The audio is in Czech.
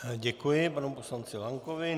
Děkuji panu poslanci Lankovi.